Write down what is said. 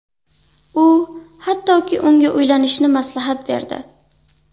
U, hattoki unga uylanishni maslahat berdi.